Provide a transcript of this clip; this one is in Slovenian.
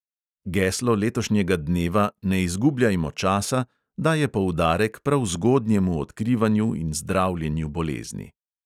Geslo letošnjega dneva "ne izgubljajmo časa" daje poudarek prav zgodnjemu odkrivanju in zdravljenju bolezni.